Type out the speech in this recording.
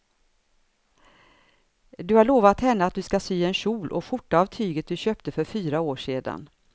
Du har lovat henne att du ska sy en kjol och skjorta av tyget du köpte för fyra år sedan.